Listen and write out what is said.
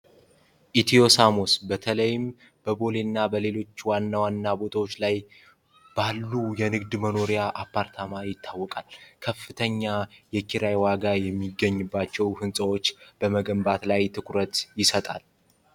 ኢትዮ ሳሙስ በተለይም በቦሌ እና በሌሎች ዋና ዋና ቦቶች ላይ ባሉ የንግድ መኖሪያ አፓርታማ ይታወቃሉል ከፍተኛ የኪራይ ዋጋ የሚገኝባቸዉ ህንጻወች በመገንባት ላይ ትኩረት ይሰጣል።